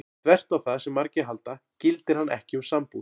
Þvert á það sem margir halda gildir hann ekki um sambúð.